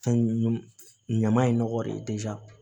Fɛn ɲama ɲama in nɔgɔ de